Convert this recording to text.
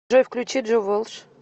джой включи джо волш